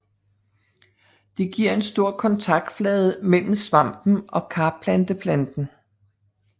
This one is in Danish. Det giver en stor kontaktflade mellem svampen og karplanteplanten